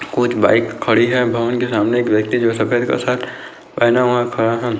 कुछ बाइक खड़ी है भवन के सामने एक सफेद शर्ट पहना हुआ खड़ा है।